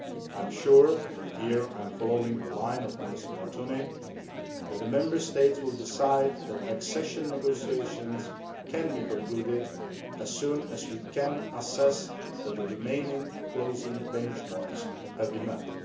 I am sure, and here I am following the line of Minister Martonyi, that the Member States will decide that accession negotiations can be concluded as soon as we can ascertain that the remaining closing benchmarks have been